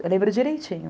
Eu lembro direitinho.